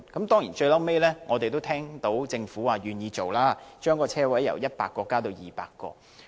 當然，我們最後也聽到，政府願意將車位由100個增加至200個。